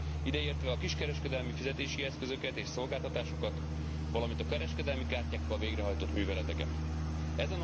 Ide értve a kiskereskedelmi fizetési eszközöket és szolgáltatásokat, valamint a kereskedelmi kártyákkal végrehajtott műveleteket is.